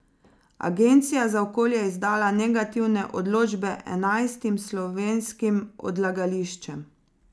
Agencija za okolje je izdala negativne odločbe enajstim slovenskim odlagališčem.